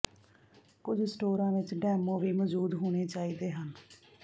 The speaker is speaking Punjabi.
ਕੁਝ ਸਟੋਰਾਂ ਵਿਚ ਡੈਮੋ ਵੀ ਮੌਜੂਦ ਹੋਣੇ ਚਾਹੀਦੇ ਹਨ